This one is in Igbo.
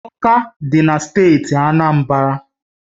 Ọka dị na steeti Anambra